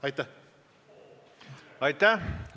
Aitäh!